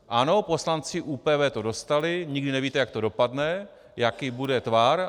Ano, poslanci ÚPV to dostali, nikdy nevíte, jak to dopadne, jaký bude tvar.